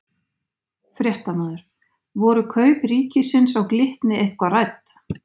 Fréttamaður: Voru kaup ríkisins á Glitni eitthvað rædd?